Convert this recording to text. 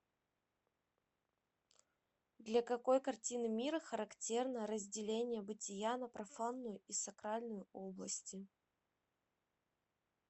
для какой картины мира характерно разделение бытия на профанную и сакральную области